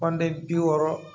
bi wɔɔrɔ